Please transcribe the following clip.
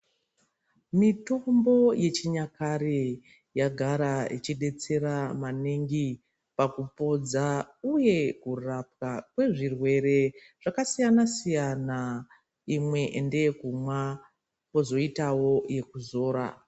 Mitombo yechinyakare yagara ichidetsera maningi pakupodza uye pakurapa kwezvirwere zvakasiyana siyana imwe ndeyekumwa kwozoitawo yekuzora.